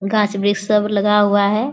गाछ-वृक्ष सब लगा हुआ है।